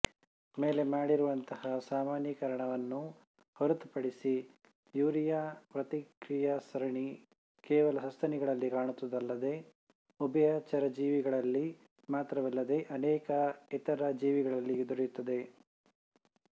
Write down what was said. ಮೇಲೆ ಮಾಡಿರುವಂತಹ ಸಾಮಾನ್ಯೀಕರಣವನ್ನು ಹೊರತುಪಡಿಸಿ ಯೂರಿಯಾ ಪ್ರತಿಕ್ರಿಯಾಸರಣಿ ಕೇವಲ ಸಸ್ತನಿಗಳಲ್ಲಿ ಕಾಣುತ್ತದಲ್ಲದೇ ಉಭಯಚರಜೀವಿಗಳಲ್ಲಿ ಮಾತ್ರವಲ್ಲದೇ ಅನೇಕ ಇತರ ಜೀವಿಗಳಲ್ಲಿ ದೊರೆಯುತ್ತದೆ